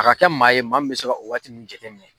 A ka kɛ maa ye maa min me se ka o wagati nunnu jateminɛ